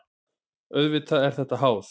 Auðvitað er þetta háð.